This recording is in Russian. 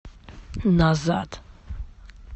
назад